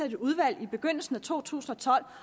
et udvalg i begyndelsen af to tusind og tolv